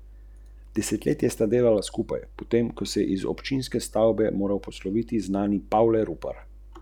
Ko je ta zapeljal v eno od stranskih ulic, so mu s prvim vozilom nenadoma zaprli pot, z drugimi vozili pa ga obkolili.